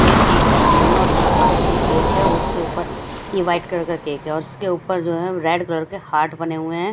ये एक केक का सीन है और यहाँ पर अब ये केक है उसके उपर ये वाइट कलर का केक है और इसके उपर जो है रेड कलर के हार्ट बने हुए है।